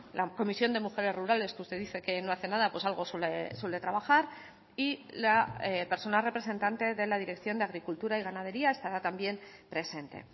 la comisión de mujeres rurales que usted dice que no hace nada pues algo suele trabajar y la persona representante de la dirección de agricultura y ganadería estará también presente